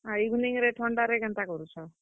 ଆଉ evening ରେ ଥଣ୍ଡାରେ କେନ୍ତା କରୁଛନ୍?